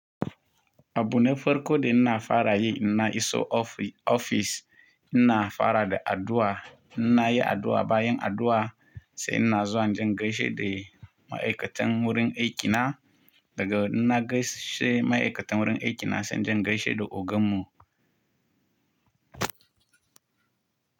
Abune farko da ina fara yi ina iso ofi- ofis ina fara da addu’a. Ina yi addu’a bayan addu’a sai ina zuwa jin gaishe da ma’aikatan wurin aikina daga ina gaishe ma’aikatan wurin aikina sai jin gaishe da ogan mu.